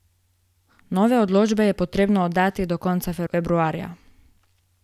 Nove odločbe pa je potrebno oddati do konca februarja!